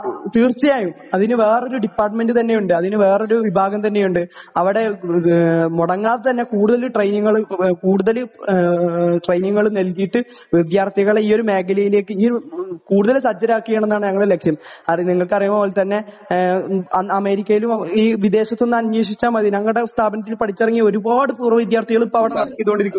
തീർച്ചയായും അതിനു വേറെ ഒരു ഡിപ്പാർട്മെന്റ് തന്നെ ഉണ്ട് അതിന് വേറെ ഒരു വിഭാഗം തന്നെ ഉണ്ട് അവിടെ മുടങ്ങാതെ തന്നെ കൂടുതൽ ട്രയിനിങ്ങുകൾ കൂടുതൽ ട്രയിനിങ്ങുകൾ നല്കിയിട്ട് വിദ്യാർഥികളെ ഈ ഒരു മേഖലയിലേക്ക് കൂടുതൽ സജ്ജരാക്കുക ആണെന്നുള്ളതാണ് ഞങ്ങളുടെ ലക്ഷ്യം . അത് നിങ്ങൾക്കറിയുന്നത് പോലെ തന്നെ അമേരിക്കയിലും ഈ വിദേശത്ത് ഒന്ന് അന്വേഷിച്ചാൽ മതി ഞങ്ങടെ ഈ സ്ഥാപനത്തില് പടിച്ചിറങ്ങിയ ഒരുപാട് പൂർവ വിദ്യാർഥികൾ ഇപ്പോ അവിടെ